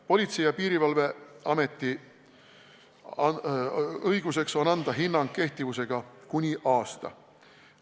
Politsei- ja Piirivalveametil on õigus anda hinnang kehtivusega kuni üheks aastaks.